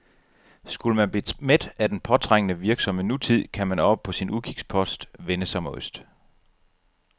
Skulle man blive mæt af den påtrængende, virksomme nutid, kan man oppe på sin udkigspost vende sig mod øst.